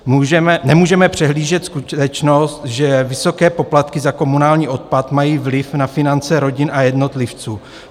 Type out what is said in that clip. Nemůžeme přehlížet skutečnost, že vysoké poplatky za komunální odpad mají vliv na finance rodin a jednotlivců.